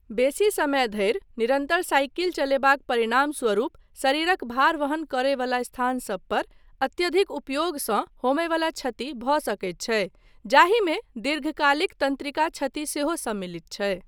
बेसी समय धरि निरन्तर साइकिल चलयबाक परिणामस्वरूप शरीरक भार वहन करयवला स्थानसब पर अत्यधिक उपयोगसँ होमयवला क्षति भऽ सकैत छै जाहिमे दीर्घकालिक तन्त्रिका क्षति सेहो सम्मिलित छै।